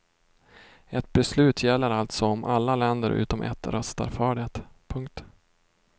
Ett beslut gäller alltså om alla länder utom ett röstar för det. punkt